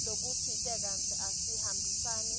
lokutsite kantsi asihambisani